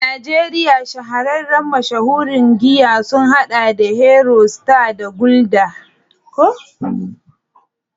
A Najeriya, shahararren mashahuran giya sun hada da Hero, Star, da Gulder.